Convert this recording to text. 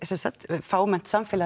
fámennt samfélag